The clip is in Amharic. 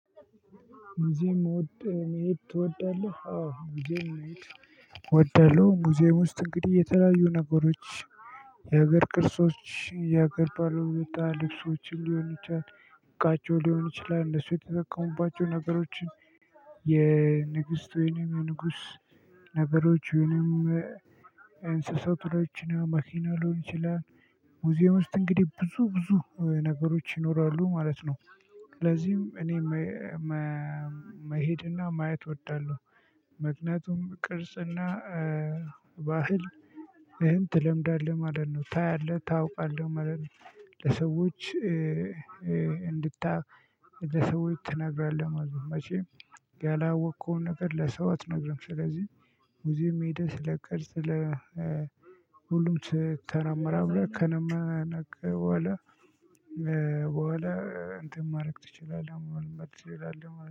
ሙዚየም መሄድ ትወዳለህ? አዎ ሙዚየም መሄድ እወዳለሁ። ሙዚየም ውስጥ እንግዲ የተለያዩ ነገሮች የሀገር ቅርሶች የሀገር ባለውለታ ልብሶችን ሊሆን ይችላል። ዕቃቸው ሊሆን ይችላል እነሱ የተጠቀሙባቸው ነገሮችን። የንግስት ወይንም የንጉስ። ነገሮች ወይንም እንስሳቶችን መኪና ሊሆን ይችላል። ሙዚየም ውስጥ እንግዲህ ብዙ ብዙ ነገሮች ይኖራሉ ማለት ነው። ስለዚህም እኔ መሄድና ማየት እወዳለሁ። ምክንያቱም ቅርጽና ባህል እንትን ትለምዳለህ ማለት ነው ታያለህ ታውቃለህ ማለት ነው። ለሰዎች እንድታይ ለሰው ትነግራለህ ማለት ነው። መቼም ያላወቅከውን ነገር ለሰው አትነግርም። ስለዚህ ሙዚየም ሄደህ ስለቅርስ ስለ ሁሉም ተመራመረ ከነመነከ በኋላ። በኋላ እንትን ማድረግ ትችላለህ ማለት ትችላለህ